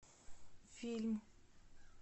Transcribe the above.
фильм